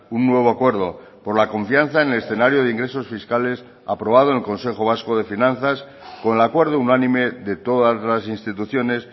un nuevo acuerdo por la confianza en el escenario de ingresos fiscales aprobado en el consejo vasco de finanzas con el acuerdo unánime de todas las instituciones